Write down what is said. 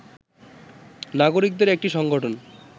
নাগরিকদের একটি সংগঠন